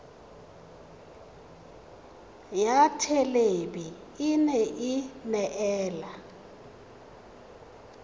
ya thelebi ene e neela